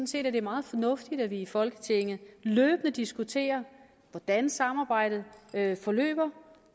set at det er meget fornuftigt at vi i folketinget løbende diskuterer hvordan samarbejdet forløber